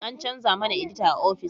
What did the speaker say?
An chanza mana edita a ofis